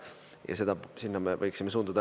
Ja sinna me võiksime suunduda.